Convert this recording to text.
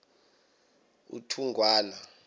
uthugwana